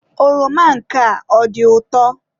Oroma nke a ọ dị ụtọ?